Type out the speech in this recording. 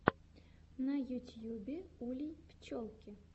на ютьюбе улей пчелки